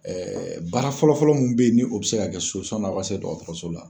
baara fɔlɔ fɔlɔ mun bɛ ye ni o bɛ se ka kɛ n'aw ka se dɔgɔtɔrɔso la.